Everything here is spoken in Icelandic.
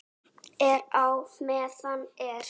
Er á meðan er.